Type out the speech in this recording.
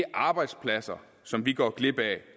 arbejdspladser som vi går glip af